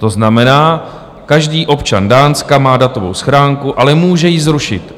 To znamená, každý občan Dánska má datovou schránku, ale může ji zrušit.